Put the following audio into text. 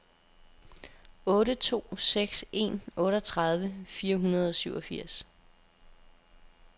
otte to seks en otteogtredive fire hundrede og syvogfirs